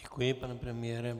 Děkuji, pane premiére.